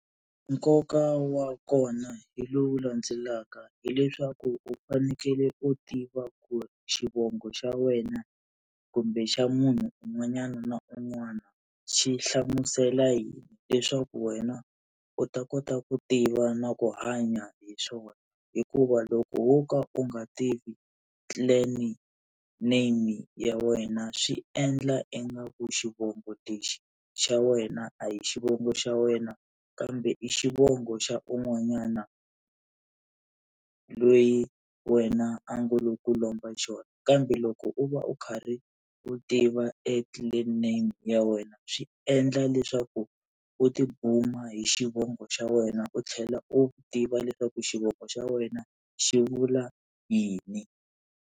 Nkoka wa kona hi lowu landzelaka hileswaku u fanekele u tiva ku xivongo xa wena kumbe xa munhu un'wanyana na un'wana xi hlamusela yini leswaku wena u ta kota ku tiva na ku hanya hi swona, hikuva loko wo ka u nga tivi clan name ya wena swi endla ingaku xivongo lexi xa wena a hi xivongo xa wena kambe i xivongo xa un'wanyana loyi wena a ngo lo ku lomba xona. Kambe loko u va u karhi u tiva e clan name ya wena swi endla leswaku u tibuma hi xivongo xa wena u tlhela u tiva leswaku xivongo xa wena xi vula yini.